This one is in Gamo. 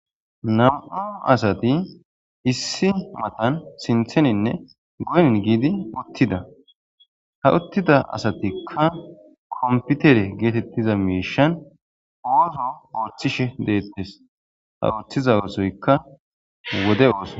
nam7u asati issi matan sintheninne goynin giidi uttida ha uttida asatikka komputere geetettiza miishan ooso ooththishe deettes ha ooththiza oosoykka wode ooso